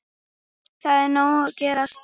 Það er nóg að gerast.